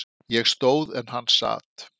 Ég stóð en hann sat.